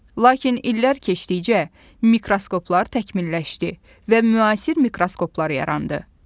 Lakin illər keçdikcə mikroskoplar təkmilləşdi və müasir mikroskoplar yarandı.